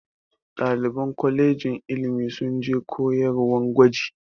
Ɗaliban kolejin ilimi sun je koyarwan gwaji.